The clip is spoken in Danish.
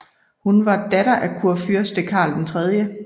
Hun var datter af kurfyrste Karl 3